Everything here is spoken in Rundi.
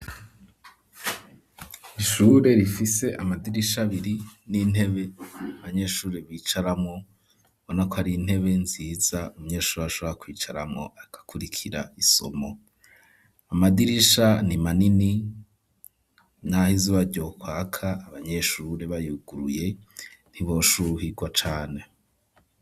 Ishure rifise amadirisha abiri n'intebe abanyeshuri bicaramwo ubona ko ari intebe nziza umuyeshuri ashobora kwicaramwo agakurikira isomo amadirisha ni manini naho izuba ryokwaka abanyeshure bayuguruye ntiboshuhirwa cane.